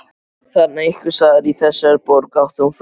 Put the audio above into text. Þarna einhvers staðar, í þessari borg, átti hún frændur.